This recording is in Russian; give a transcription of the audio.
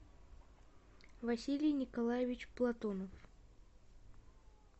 василий николаевич платонов